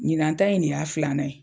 Ɲinan ta in ne y'a filanan ye.